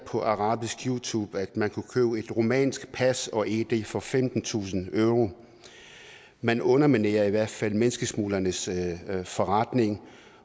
på arabisk youtube at man kunne købe et rumænsk pas og id kort for femtentusind euro man underminerer i hvert fald menneskesmuglernes forretning